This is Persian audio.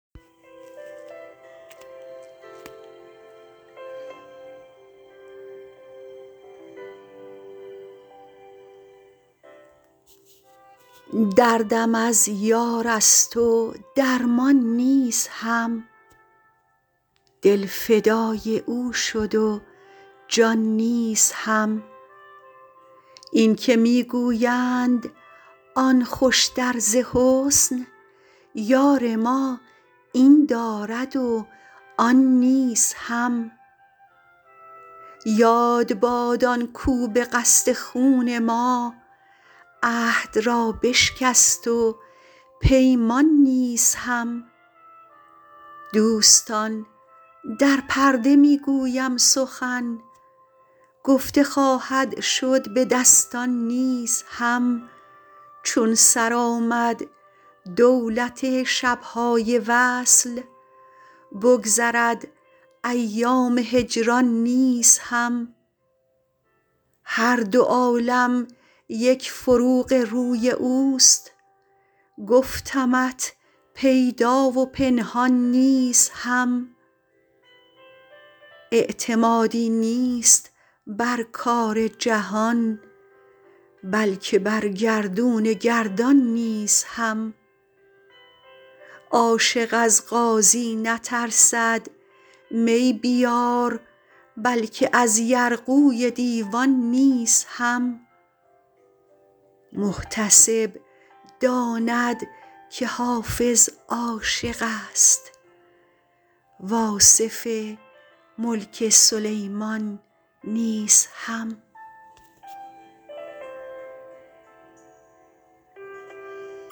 دردم از یار است و درمان نیز هم دل فدای او شد و جان نیز هم این که می گویند آن خوشتر ز حسن یار ما این دارد و آن نیز هم یاد باد آن کاو به قصد خون ما عهد را بشکست و پیمان نیز هم دوستان در پرده می گویم سخن گفته خواهد شد به دستان نیز هم چون سر آمد دولت شب های وصل بگذرد ایام هجران نیز هم هر دو عالم یک فروغ روی اوست گفتمت پیدا و پنهان نیز هم اعتمادی نیست بر کار جهان بلکه بر گردون گردان نیز هم عاشق از قاضی نترسد می بیار بلکه از یرغوی دیوان نیز هم محتسب داند که حافظ عاشق است و آصف ملک سلیمان نیز هم